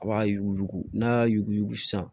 A b'a yuguyugu n'a y'a yuguyugu san